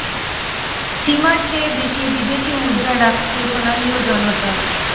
সীমার চেয়ে বেশি বিদেশি মুদ্রা রাখছে সোনালী ও জনতা